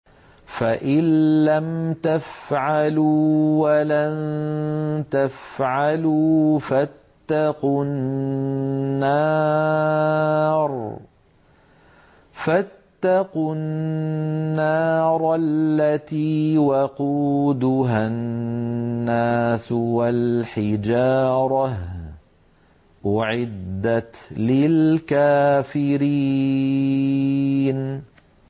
فَإِن لَّمْ تَفْعَلُوا وَلَن تَفْعَلُوا فَاتَّقُوا النَّارَ الَّتِي وَقُودُهَا النَّاسُ وَالْحِجَارَةُ ۖ أُعِدَّتْ لِلْكَافِرِينَ